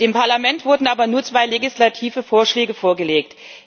Dem Parlament wurden aber nur zwei legislative Vorschläge vorgelegt.